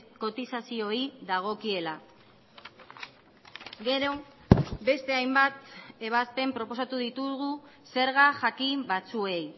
kotizazioei dagokiela gero beste hainbat ebazpen proposatu ditugu zerga jakin batzuei